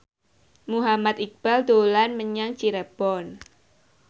Muhammad Iqbal dolan menyang Cirebon